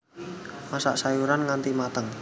Masak sayuran nganti mateng